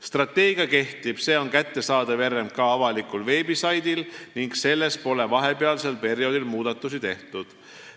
Strateegia kehtib, see on kättesaadav RMK avalikul veebisaidil ning selles pole vahepealsel perioodil muudatusi tehtud.